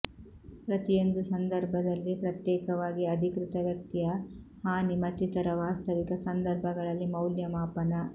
ಪ್ರತಿಯೊಂದು ಸಂದರ್ಭದಲ್ಲಿ ಪ್ರತ್ಯೇಕವಾಗಿ ಅಧಿಕೃತ ವ್ಯಕ್ತಿಯ ಹಾನಿ ಮತ್ತಿತರ ವಾಸ್ತವಿಕ ಸಂದರ್ಭಗಳಲ್ಲಿ ಮೌಲ್ಯಮಾಪನ